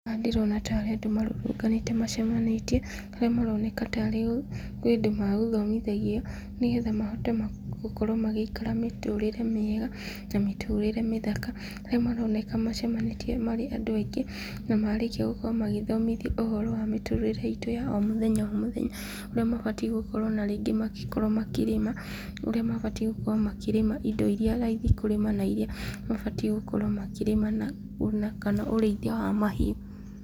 Haha ndĩrona tarĩ andũ marũrũnganĩte ,macemanĩtie, arĩa maronekana tarĩ indo magũthomithagio , nĩgetha mahote gũkorwo magĩikara mĩtũrĩre mĩega na mĩtũrire mĩthaka, harĩa maronekana macemanĩtie marĩ andũ aingĩ, na marĩkia gũkorwo magĩthomothio ũhoro wa mĩtũrĩre itũ ya o mũthenya o mũthenya , ũrĩa mabatiĩ gũkorwo na rĩngĩ makĩrĩma, ũrĩa mabatiĩ gũkorwo makĩrĩma indo iria raithi, kũrĩma na iria mabatiĩ gũkorwo makĩrĩma, na ona kana ũrĩithia wa mahiũ.